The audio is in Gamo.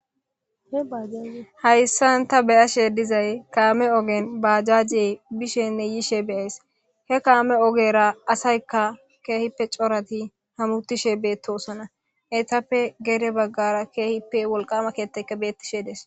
hayssan ta beyashe dizay kaame ogen baajaje bishenne yiishe beyays he kaame ogera asaykka keehippe corati hamutishe beettosana etappe gere baggara keehippe wolqama keettayka beettishe des